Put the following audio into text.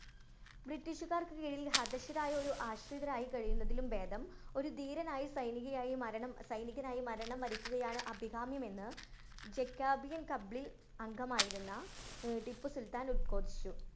ബ്രിട്ടീഷുകാരുടെ കീഴില്‍ ഹതശ്ശരായും, ആശ്രിതരായും കഴിയുന്നതിലും ഭേദം ഒരു ധീരനായും സൈനികയായും മരണം സൈനികനായി മരണം വരിക്കുകയാണ് അഭികാമ്യമെന്ന് ജക്കാബിയന്‍ കബ്ലി അംഗമായിരുന്ന ടിപ്പു സുല്‍ത്താന്‍ ഉത്ഘോഷിച്ചു.